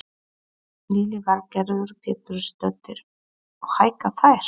Lillý Valgerður Pétursdóttir: Og hækka þær?